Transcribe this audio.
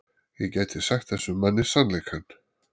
Ég gæti sagt þessum manni sannleikann.